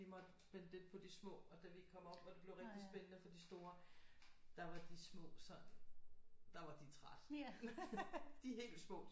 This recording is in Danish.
Måtte vente lidt på de små og da vi kom op og det blev rigtigt spændende for de store der var de små sådan der var de trætte de helt små